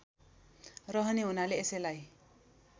रहने हुनाले यसैलाई